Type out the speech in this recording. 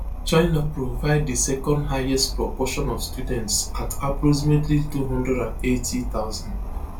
china provide di second highest proportion of students at approximately two hundred and eighty thousand